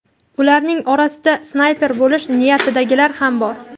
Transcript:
Ularning orasida snayper bo‘lish niyatidagilar ham bor .